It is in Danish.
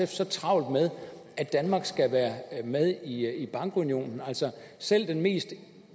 så travlt med at danmark skal være med i bankunionen altså selv den mest